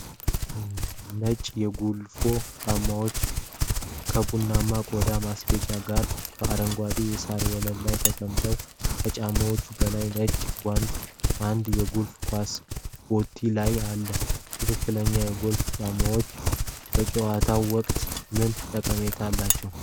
ነጭ የጎልፍ ጫማዎች ከቡናማ ቆዳ ማስጌጫዎች ጋር በአረንጓዴ የሣር ወለል ላይ ተቀምጠዋል። ከጫማዎቹ በላይ ነጭ ጓንትና አንድ የጎልፍ ኳስ በቴ ላይ አለ። ትክክለኛ የጎልፍ ጫማዎች በጨዋታው ወቅት ምን ጠቀሜታ አላቸው?